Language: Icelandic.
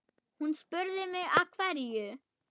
Hún spurði mig af hverju?